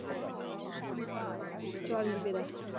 ਚਾਲੀ ਰੁਪਏ ਦਾ।